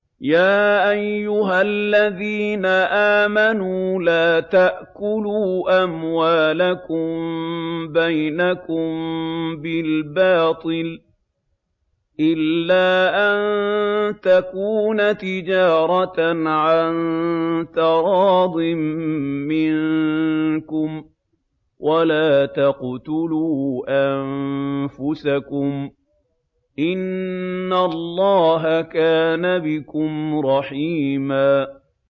يَا أَيُّهَا الَّذِينَ آمَنُوا لَا تَأْكُلُوا أَمْوَالَكُم بَيْنَكُم بِالْبَاطِلِ إِلَّا أَن تَكُونَ تِجَارَةً عَن تَرَاضٍ مِّنكُمْ ۚ وَلَا تَقْتُلُوا أَنفُسَكُمْ ۚ إِنَّ اللَّهَ كَانَ بِكُمْ رَحِيمًا